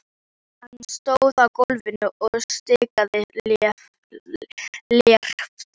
Hann stóð á gólfinu og stikaði léreft.